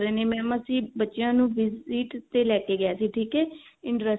mam ਅਸੀਂ ਬੱਚਿਆਂ ਨੂੰ visit ਤੇ ਲੈਕੇ ਗਏ ਸੀ ਠੀਕ ਹੈ interest